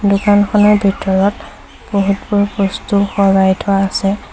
দোকানখনৰ ভিতৰত বহুতবোৰ বস্তু সজাই থোৱা আছে।